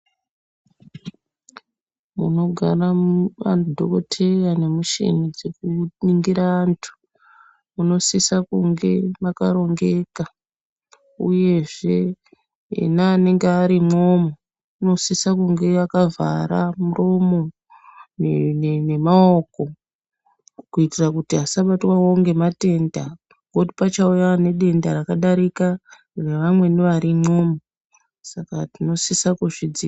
Munogara madhokoteya nemuchini dzekuningira antu munosisa kunge makarongeka. Uyezve ena anenge ari imwomwo unosise kunge akavhara muromo nemaoko. Kuitira kuti asabatwavo ngematenda. Ngokuti pachauya anedenda rakadarika revamweni varimwo saka tinosisa kuzvidziirira.